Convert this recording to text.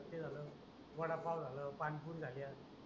अस झाल वाडा पाव झाल पाणीपुरी झाल्या